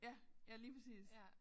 Ja ja lige præcis